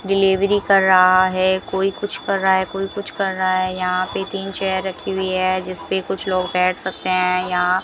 delivery कर रहा है कोई कुछ कर रहा है कोई कुछ कर रहा है यहां पे तीन चेयर रखी हुई है जिस पे कुछ लोग बैठ सकते हैं यहां --